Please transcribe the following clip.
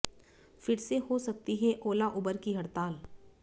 फिर से हो सकती है ओला उबर की हड़ताल